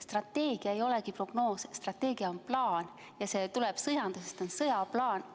Strateegia ei olegi prognoos, strateegia on plaan ja see tuleb sõjandusest, see on sõjaplaan.